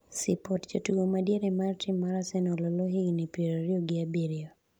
(sipot) jatugo ma diere mar tim mar Arsenal Oloo, higni piero ariyo gi abiriyo